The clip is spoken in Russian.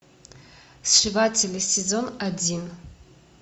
сшиватели сезон один